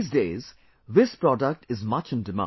These days, this product is much in demand